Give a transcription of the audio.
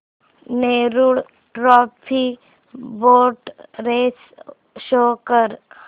Nehru trophy boat race show कर